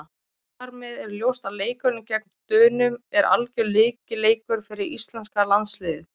Þar með er ljóst að leikurinn gegn Dönum er algjör lykilleikur fyrir íslenska landsliðið.